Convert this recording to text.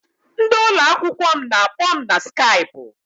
Ndị ụlọakwụkwọ m na-akpọ m na Skaipụ.